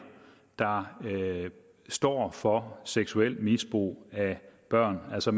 der står for seksuelt misbrug af børn altså